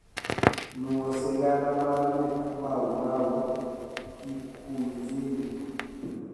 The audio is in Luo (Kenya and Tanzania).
nuo sigana mar buk maumau kikuizini